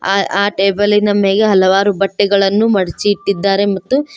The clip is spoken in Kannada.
ಆ ಟೇಬಲಿನ ಮೇಲೆ ಹಲವಾರು ಬಟ್ಟೆಗಳನ್ನು ಮಡ್ಚಿ ಇಟ್ಟಿದ್ದಾರೆ ಮತ್ತು--